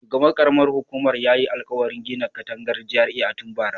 Shugaban karamar hukumar yayi alkawarin gina katangar GRA tun bara